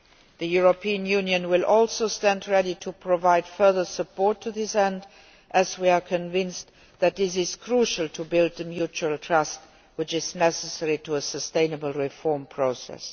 The European Union will also stand ready to provide further support to this end, as we are convinced that this is crucial to build the mutual trust necessary to a sustainable reform process.